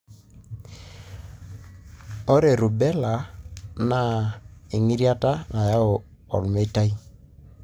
ore Rubella na engitirata nayau olmeitai,